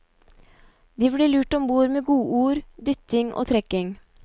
De blir lurt ombord med godord, dytting og trekking.